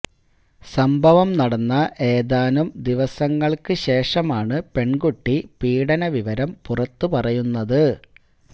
സംഭവം നടന്ന ഏതാനും ദിവസങ്ങള്ക്ക് ശേഷമാണ് പെണ്കുട്ടി പീഡന വിവരം പുറത്ത് പറയുന്നത്